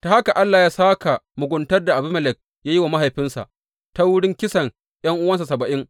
Ta haka Allah ya sāka muguntar da Abimelek da ya yi wa mahaifinsa ta wurin kisan ’yan’uwansa saba’in.